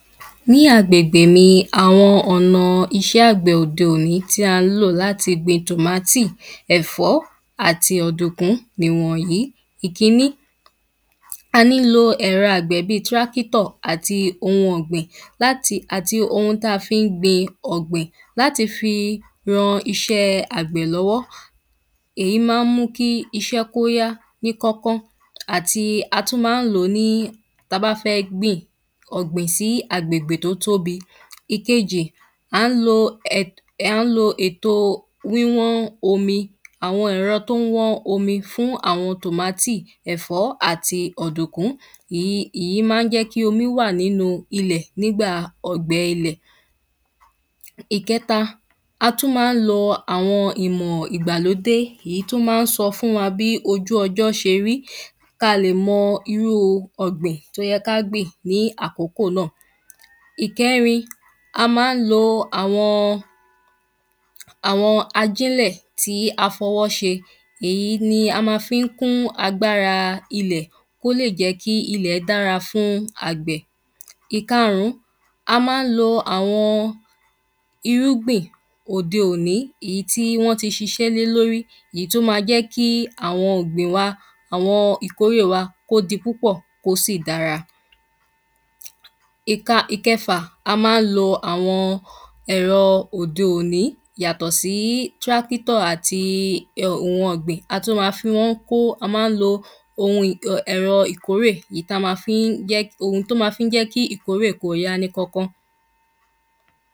Ní agbègbè mi Àwọn ọ̀nà iṣẹ́ àgbẹ̀ òde òní tí á ń lò láti gbin tomatoe ẹ̀fọ́ àti ọ̀dùkún nìwọ̀nyìí Ìkíní à ń lo ẹ̀rọ àgbẹ̀ bíi tractor àti oun ọ̀gbìn láti àti oun tí a fi ń gbin ọ̀gbìn láti fi ran iṣẹ́ àgbẹ̀ lọ́wọ́ Èyí máa ń mú kí iṣẹ́ kí ó yá ní kọ́kán àti á tún máa ń lò ní tí a bá fẹ́ gbin ọ̀gbìn sí àgbègbè tí ó tóbi Ìkejì à ń lo ètòo wíwán omi Àwọn ẹ̀rọ tí ó ń wán omi fún àwọn tomato ẹ̀fọ́ àti ọ̀dùkún Ì ìyí máa ń jẹ́ kí omi wà nínú ilẹ̀ nígbà ọ̀gbẹ ilẹ̀ Ìkẹta a tún máa ń lo àwọn ìmọ̀ ìgbàlódé ìyí tí ó máa ń sọ fůn wa bí ojú ọjọ́ ṣe rí kí a lè mọ irú ọ̀gbìn tí ó yẹ kí a gbìn ní àkókò náà Ìkẹrin a máa ń lo àwọn àwọn ajínlẹ̀ tí a fi ọwọ́ ṣe Èyí ni a ma fi ń kún agbára ilẹ̀ kí ó lè jẹ́ kí ilẹ̀ dára fún àgbẹ̀ Ìkarùn ún a máa ń lo àwọn irúgbìn òde òní èyí tí wọ́n tí ṣiṣẹ́ lè lórí Èyí tí ó ma jẹ́ kí àwọn ọ̀gbìn wa àwọn ìkórè wa kí ó di púpọ̀ kí ó sì dára Ìka a máa ń lo àwọn ẹ̀rọ òde òní yàtọ̀ sí tractor àti oun ọ̀gbìn a tún ma fi wọ́n kó a máa ń lo oun um ẹ̀rọ ìkórè èyí tí a ma fi ń èyí tí ó ma jẹ́ kí ìkórè kí ó yá ní Kánkán